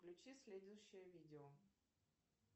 включи следующее видео